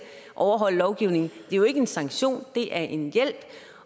overholde lovgivningen det er jo ikke en sanktion det er en hjælp